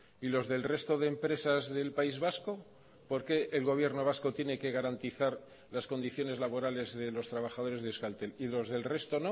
y los del resto de empresas del país vasco por qué el gobierno vasco tiene que garantizar las condiciones laborales de los trabajadores de euskaltel y los del resto